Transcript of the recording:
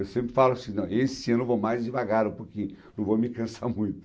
Eu sempre falo assim, não, esse ano eu vou mais devagar um pouquinho, não vou me cansar muito.